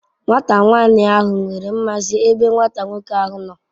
Nwata nwani ahu nwere nmasi ebe Nwata nwoke ahu no